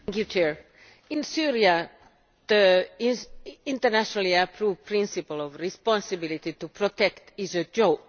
Mr President, in Syria the internationally approved principle of responsibility to protect is a joke.